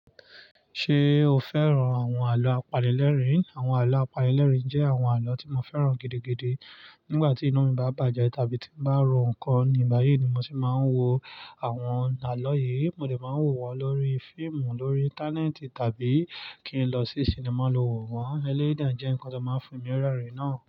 Ṣé o fẹ́ràn àwọn àlọ́ àpanilerin? Àwọn àlọ́ àpalẹ̀lẹ̀ jẹ́ àwọn àlọ́ tí mo fẹ́ràn gidigidi. Nígbà tí inú mi bá bàjẹ́ tàbí tí mo bá ro nǹkan ní báyìí ni mo ti máa ń wo àwọn àlọ́ yìí. Mo lè máa wò wọ́n lórí fíìmù lórí Íńtánẹ́ẹ̀tì tàbí kí n lọ sí sinimá lo wò wọ́n. Eléyìí de jẹ́ nǹkan tó máa ń fi mi rẹ́rìn náà.